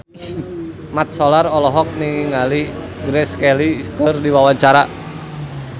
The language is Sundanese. Mat Solar olohok ningali Grace Kelly keur diwawancara